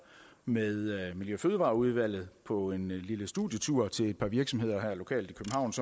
med miljø og fødevareudvalget på en lille studietur til et par virksomheder lokalt i